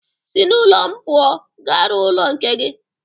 Si n'ụlọ m pụọ! Ga rụọ ụlọ nke gi